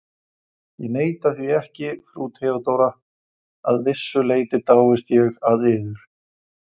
Ég neita því ekki, frú Theodóra: að vissu leyti dáist ég að yður.